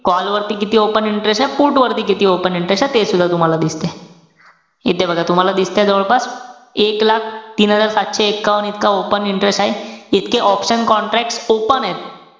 Call वरती किती open interest ए, put वरती किती open interest ए. ते सुद्धा तूम्हाला दिसते. इथे बघा तुम्हाला दिसतंय जवळपास. एक लाख तीन हजार सातशे एकावन्न इतका open interest आहे. इतके option contract open एत.